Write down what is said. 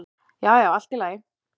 Já, já, allt í lagi